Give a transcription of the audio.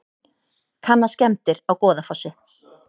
Kanna skemmdir á Goðafossi